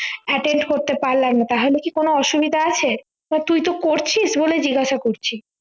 attend করতে পারলাম না তাহলে কি কোনো অসুবিধা আছে তো তুইতো করছিস বলেই জিজ্ঞাসা করছি